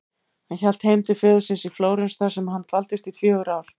Hann hélt heim til föður síns í Flórens þar sem hann dvaldist í fjögur ár.